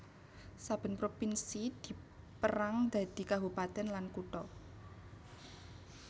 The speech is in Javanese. Saben provinsi dipérang dadi kabupatèn lan kutha